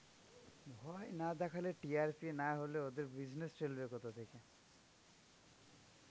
ভয় না দেখালে TRP হলে ওদের business চলবে কোথা থেকে.